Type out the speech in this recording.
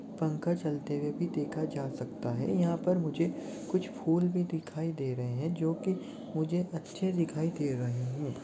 पंखा चलते हुए भी दिखा जा सकता है यहा पर मुझे कुछ फूल भी दिखाई दे रहे है जो की मुझे अच्छे दिखाई दे रहे है।